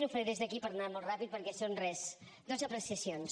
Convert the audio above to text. ho faré des d’aquí per anar molt ràpid perquè són res dos apreciacions